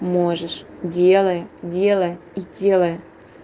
можешь делай делай и делай